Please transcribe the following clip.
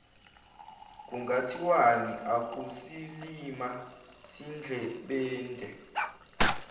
kungathiwani akusilima sindlebende